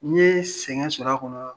N ye sɛgɛn sɔr'a kɔnɔ